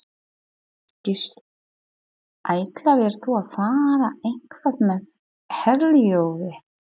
Gísli: Ætlaðir þú að fara eitthvað með Herjólfi?